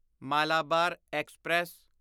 Malabar express